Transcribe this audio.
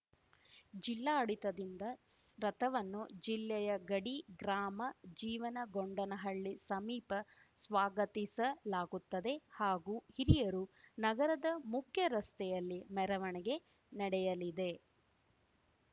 ಜಿಲ್ಲಾಡಿತದಿಂದ ರಥವನ್ನು ಜಿಲ್ಲೆಯಗಡಿ ಗ್ರಾಮ ಜೀವನಗೊಂಡನಹಳ್ಳಿ ಸಮೀಪ ಸ್ವಾಗತಿಸಲಾಗುತ್ತದೆ ಹಾಗೂ ಹಿರಿಯರು ನಗರದ ಮುಖ್ಯರಸ್ತೆಯಲ್ಲಿ ಮೆರವಣಿಗೆ ನಡೆಯಲಿದೆ